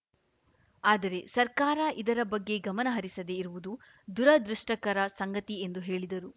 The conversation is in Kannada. ಆದರೆ ಸರ್ಕಾರ ಇದರ ಬಗ್ಗೆ ಗಮನ ಹರಿಸದೆ ಇರುವುದು ದುರದೃಷ್ಟಕರ ಸಂಗತಿ ಎಂದು ಹೇಳಿದರು